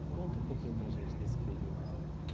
E conta um pouquinho para a gente desse período.